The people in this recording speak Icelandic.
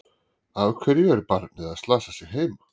Af hverju er barnið að slasa sig heima?